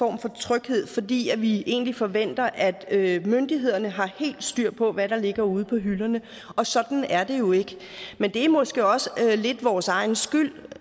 tryghed fordi vi egentlig forventer at myndighederne har helt styr på hvad der ligger ude på hylderne og sådan er det jo ikke men det er måske også lidt vores egen skyld